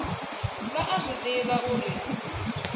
vha a zwi ḓivha uri